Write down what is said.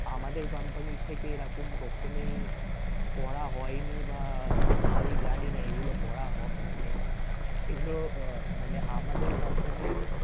আমাদের company র থেকে এরকম কখনই করা হয়নি বা আমি জানিনা এগুলো করা~হ মানে এগুলো আহ মানে আমাদের company র